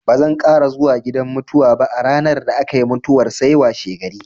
Bazan ƙara zuwa gidan mutuwa ba a ranar da aka yi mutuwar sai washegari.